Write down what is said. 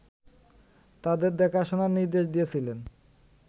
তাদের দেখাশোনার নির্দেশ দিয়েছিলেন